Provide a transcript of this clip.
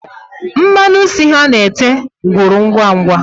Mmanụ isi ha na-ete gwụrụ ngwangwa